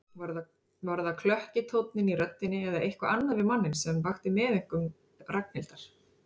Var það klökki tónninn í röddinni eða eitthvað annað við manninn sem vakti meðaumkun Ragnhildar?